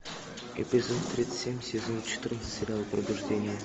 эпизод тридцать семь сезон четырнадцать сериал пробуждение